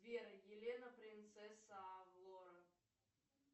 сбер елена принцесса авалора